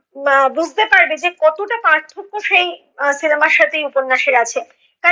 আহ বুজতে পারবে যে কতোটা পার্থক্য সেই আহ cinema র সাথে এই উপন্যসের আছে।